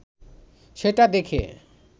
সেটা দেখে